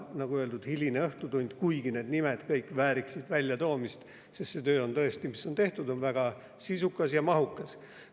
Nagu öeldud, on hiline õhtutund, aga need nimed kõik vääriksid väljatoomist, sest töö, mis on tehtud, on tõesti väga sisukas ja mahukas.